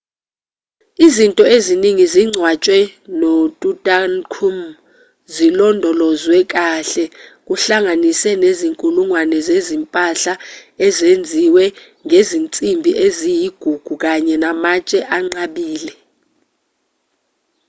izinto eziningi ezingcwatshwe notutankhamun zilondolozwwe kahle kuhlanganise nezinkulungwane zezimpahla ezenziwe ngezinsimbi eziyigugu kanye namatshe anqabile